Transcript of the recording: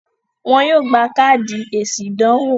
wọ́n yóò gbà káàdì èsì ìdánwò.